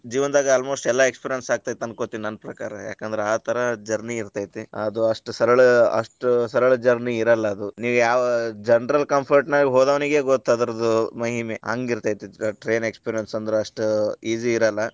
ಜೀವನದಾಗ almost ಎಲ್ಲಾ experience ಆಕ್ಕೆತಿ ಅನ್ಕೊಂತೀನಿ ನನ್ ಪ್ರಕಾರ, ಯಾಕಂದ್ರ ಆತರ journey ಇರತೈತಿ, ಅದು ಅಷ್ಟ ಸರಳ ಅಷ್ಟ ಸರಳ journey ಇರಲ್ಲಾ ಅದು, ನಿವ ಯಾವ general comfort ನಾಗ ಹೋದೋನಿಗೆ ಗೊತ್ ಅದ್ರದ್ ಮಹಿಮೆ ಹಂಗ ಇರತೈತಿ train experience ಅಂದ್ರ ಅಷ್ಟ easy ಇರಲ್ಲಾ.